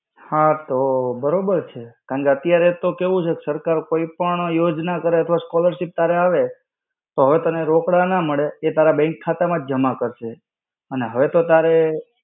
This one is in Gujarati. હા તો બરોબર છે. કારણકે અત્યારે તો કેવું છે કે સરકાર કોઈ પણ યોજના કરે તો scholarship તારે આવે, પણ હવે તને રોકડા ના મળે, એ તારા bank ખાતામાં જ જમા કરશે. અને હવે તો તારે.